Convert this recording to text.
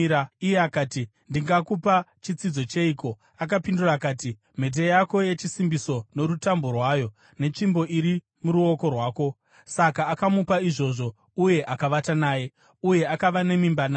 Iye akati, “Ndingakupa chitsidzo cheiko?” Akapindura akati, “Mhete yako yechisimbiso norutambo rwayo, netsvimbo iri muruoko rwako.” Saka akamupa izvozvo uye akavata naye, uye akava nemimba naye.